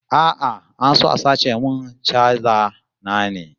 A'a, an so a sace min chaja ta ne